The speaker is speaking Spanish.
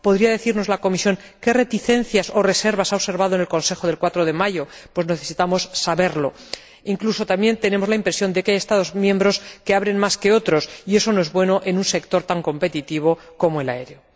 ¿Podría decirnos la Comisión qué reticencias o reservas ha observado en el Consejo del 4 de mayo? Necesitamos saberlo. Incluso también tenemos la impresión de que hay Estados miembros que abren más el espacio que otros y eso no es bueno en un sector tan competitivo como el aéreo.